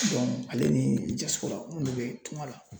ale ni munnu bɛ tungan la